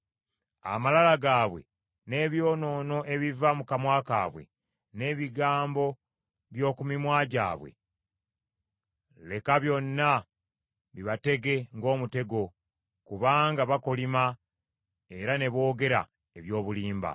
Amalala gaabwe n’ebyonoono ebiva mu kamwa kaabwe, n’ebigambo by’oku mimwa gyabwe leka byonna bibatege ng’omutego. Kubanga bakolima era ne boogera eby’obulimba.